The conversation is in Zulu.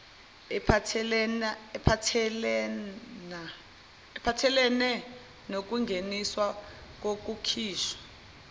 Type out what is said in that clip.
aphathelene nokungeniswa nokukhishwa